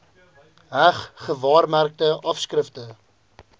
heg gewaarmerkte afskrifte